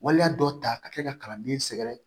Waleya dɔ ta ka kɛ ka kalanden sɛgɛrɛ